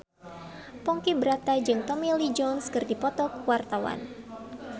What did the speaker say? Ponky Brata jeung Tommy Lee Jones keur dipoto ku wartawan